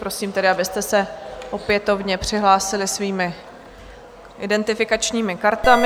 Prosím tedy, abyste se opětovně přihlásili svými identifikačními kartami.